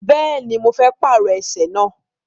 Bẹ́ẹ̀ni, mo fẹ́ pàrọ ẹsẹ̀ náà.